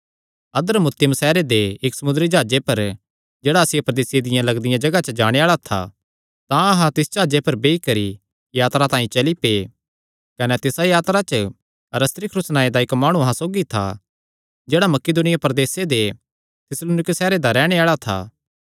अद्रमुतियुम सैहरे दे इक्क समुंदरी जाह्जे पर जेह्ड़ा आसिया प्रदेसे दियां लगदियां जगाह च जाणे आल़ा था तां अहां तिस जाह्जे पर बेई करी यात्रा तांई चली पै कने तिसा यात्रा च अरिस्तर्खुस नांऐ दा इक्क माणु अहां सौगी था जेह्ड़ा मकिदुनिया प्रदेसे दे थिस्सलुनीके सैहरे दा रैहणे आल़ा था